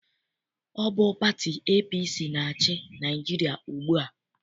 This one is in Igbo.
Ọ bụ pati APC na-achị Naịjirịa ugbua.